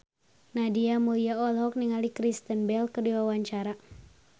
Nadia Mulya olohok ningali Kristen Bell keur diwawancara